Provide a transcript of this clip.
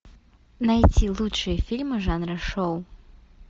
найти лучшие фильмы жанра шоу